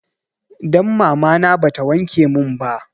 Dan mamana ba ta wanke mun ba